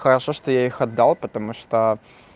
хорошо что я их отдал потому что